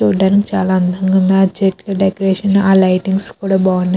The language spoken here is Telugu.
చూడ్డానికి చాలా అందంగా ఉంది. ఆ చెట్ల డెకరేషన్ ఆ లైటింగ్ స్ కూడా బాగున్నాయ్.